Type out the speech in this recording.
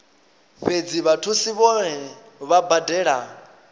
fhedzi vhathusi vhohe vha badela